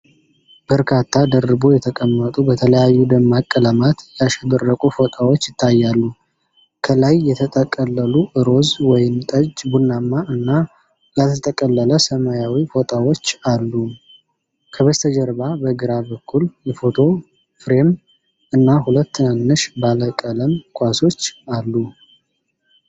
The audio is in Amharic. በርካታ ደርቦ የተቀመጡ፣ በተለያዩ ደማቅ ቀለማት ያሸበረቁ ፎጣዎች ይታያሉ። ከላይ የተጠቀለሉ ሮዝ፣ ወይን ጠጅ፣ ቡናማ እና ያልተጠቀለለ ሰማያዊ ፎጣዎች አሉ። ከበስተጀርባ በግራ በኩል የፎቶ ፍሬም እና ሁለት ትናንሽ ባለቀለም ኳሶች አሉ።